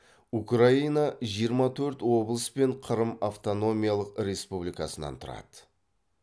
украина жиырма төрт облыс пен қырым автономиялық республикасынан тұрады